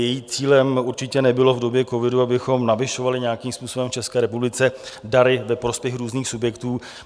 Jejím cílem určitě nebylo v době covidu, abychom navyšovali nějakým způsobem v České republice dary ve prospěch různých subjektů.